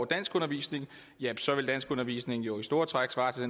danskundervisning jamen så ville danskundervisningen jo i store træk svare til